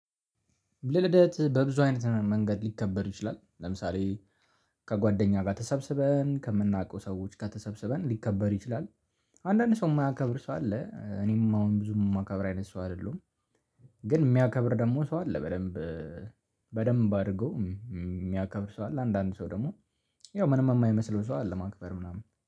ልደት በብዙ አይነት መንገድ ሊከበር ይችላል ለምሳሌ ከጓደኛ ጋር ተሰብስበን ከምናውቀው ሰዎች ከተሰበሰበን ሊከበር ይችላል። አንዳንድ ሰው የማያከብር ሰው አለ። እኔም አሁን ብዙም የማከብር አይነት ሰው አይደለሁም። ግን የሚያከብር ደግሞ ሰው አለ በደንብ በደንብ አድርገው የሚያከብር ሰው አለ። አንዳንድ ሰው ደግሞ ያው ምንም የማይመስለው ሰው አለ ማክበር ምናምን